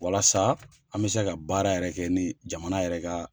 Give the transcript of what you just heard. Walasa an bɛ se ka baara yɛrɛ kɛ ni jamana yɛrɛ ka